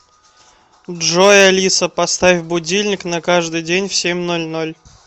джой алиса поставь будильник на каждый день в семь ноль ноль